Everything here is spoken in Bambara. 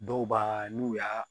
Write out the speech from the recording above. Dɔw b'a n'u y'a